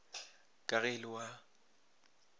ka ge e le wa